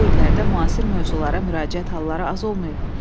Bu illərdə müasir mövzulara müraciət halları az olmayıb.